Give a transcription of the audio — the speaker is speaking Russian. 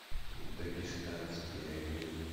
дагестанские огни